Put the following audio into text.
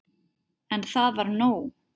En það var nóg.